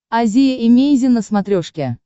азия эмейзин на смотрешке